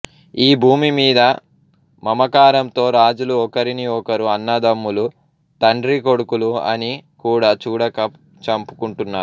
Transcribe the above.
ఈ భూమి మీద మమకారంతో రాజులు ఒకరిని ఒకరు అన్నదమ్ములు తండ్రీ కొడుకులు అని కూడా చూడక చంపు కుంటున్నారు